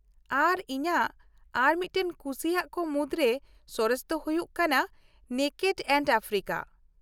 ᱟᱨ ᱤᱧᱟᱹᱜ ᱟᱨ ᱢᱤᱫᱴᱟᱝ ᱠᱩᱥᱤᱭᱟᱜ ᱠᱚ ᱢᱩᱫᱨᱮ ᱥᱚᱨᱮᱥ ᱫᱚ ᱦᱩᱭᱩᱜ ᱠᱟᱱᱟ 'ᱱᱮᱠᱮᱰ ᱮᱱᱰ ᱟᱯᱷᱨᱤᱠᱟ '᱾